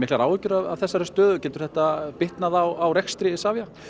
áhyggjur af þessari stöðu getur þetta bitnað á rekstri Isavia